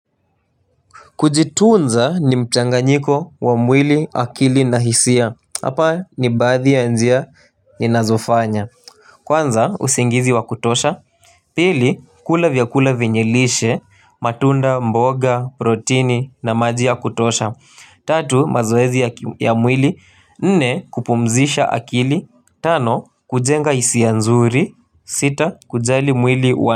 Kujitunza ni mchanga nyiko wa mwili akili na hisia. Hapa ni baadhi ya njia ni nazofanya. Kwanza usingizi wa kutosha. Pili kula vyakula venyelishe matunda mboga, protini na maji ya kutosha. Tatu mazoezi ya mwili. Nne kupumzisha akili. Tano kujenga hisi a nzuri. Sita kujali mwili wa.